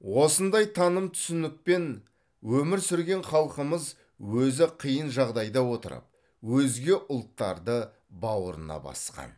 осындай таным түсінікпен өмір сүрген халқымыз өзі қиын жағдайда отырып өзге ұлттарды бауырына басқан